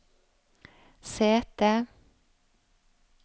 sete